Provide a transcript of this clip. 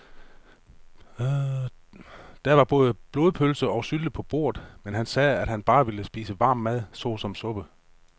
Der var både blodpølse og sylte på bordet, men han sagde, at han bare ville spise varm mad såsom suppe.